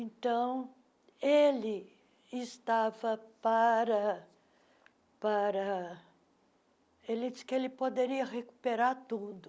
Então, ele estava para para... Ele disse que poderia recuperar tudo.